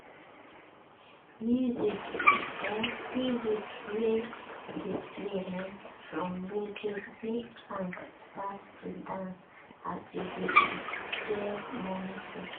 um music wey dey play um from radio make ahm start to dance as e dey prepare morning food.